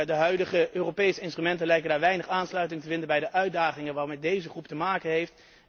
De huidige Europese instrumenten lijken weinig aansluiting te vinden bij de uitdagingen waarmee deze groep te maken heeft.